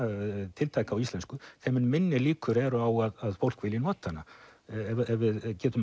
tiltæka á íslensku þeim mun minni líkur eru á að fólk vilji nota hana ef við getum